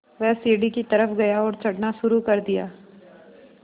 वह सीढ़ी की तरफ़ गया और चढ़ना शुरू कर दिया